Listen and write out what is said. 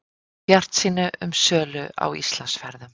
Bjartsýni um sölu á Íslandsferðum